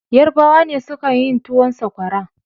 Yarbawa ne suka yin towun Sakwara.